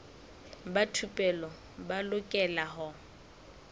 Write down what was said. ba thupelo ba lokela ho